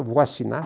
Eu vou assinar.